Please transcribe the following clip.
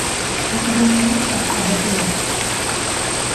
у тебя найдется абатуар